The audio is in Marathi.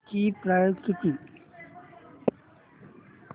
ची प्राइस किती